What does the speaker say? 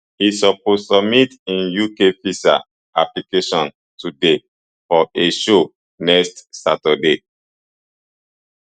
e suppose submit im uk visa application today for a show next saturday